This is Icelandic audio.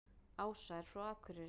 Ása er frá Akureyri.